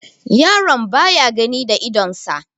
yaron baya gani da idonsa